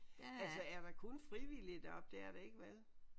Altså er der kun frivillige deroppe det er der ikke vel?